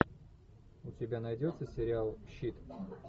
у тебя найдется сериал щит